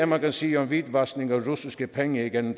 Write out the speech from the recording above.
man kan sige om hvidvaskning af russiske penge igennem